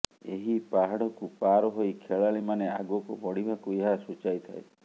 ଏହି ପାହାଡକୁ ପାର ହୋଇ ଖେଳାଳିମାନେ ଆଗକୁ ବଢ଼ିବାକୁ ଏହା ସୂଚାଇଥାଏ